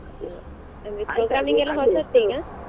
ಅಂದ್ರೆ programming ಎಲ್ಲ ಹೊಸತ್ತೀಗಾ.